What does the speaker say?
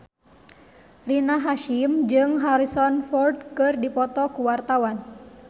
Rina Hasyim jeung Harrison Ford keur dipoto ku wartawan